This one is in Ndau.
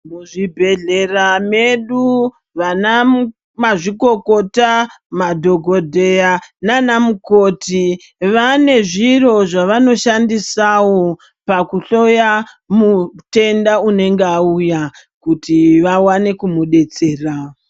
Muzvibhedhlera medu vanamazvikokota, madhogodheya nanamukoti vane zviro zvavanoshandisawo pakuhloya mutenda unenge auya, kuti vawane kumudetsera.